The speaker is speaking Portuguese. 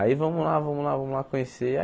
Aí vamos lá, vamos lá, vamos lá conhecer.